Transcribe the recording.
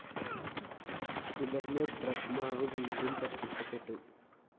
തുടര്‍ന്ന് ബ്രഹ്മാവ് വീണ്ടും പ്രത്യക്ഷപ്പെട്ടു